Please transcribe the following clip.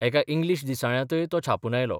एका इंग्लीश दिसाळ्यांतय तो छापून आयलो.